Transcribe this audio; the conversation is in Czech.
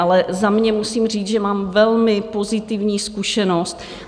Ale za sebe musím říct, že mám velmi pozitivní zkušenost.